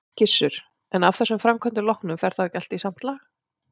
Gissur: En af þessum framkvæmdum loknum, fer þá ekki allt í samt lag?